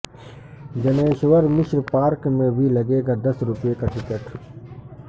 Janeshwar Mishra park میں بھی لگے گا دس روپئے کا ٹکٹ